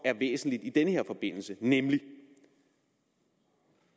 væsentligt i den her forbindelse nemlig